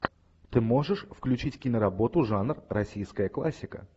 ты можешь включить киноработу жанр российская классика